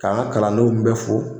Ka an ka kalandenw bɛ fo